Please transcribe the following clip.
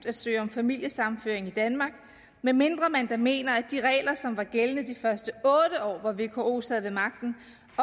at søge om familiesammenføring i danmark medmindre man da mener at de regler som var gældende de første otte år hvor vko sad ved magten